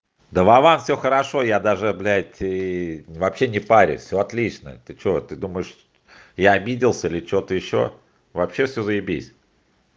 да вован все хорошо я даже блять и вообще не парюсь все отлично ты что ты думаешь я обиделся или что-то ещё вообще все заебись